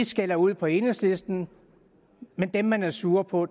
skælder ud på enhedslisten men dem man er sur på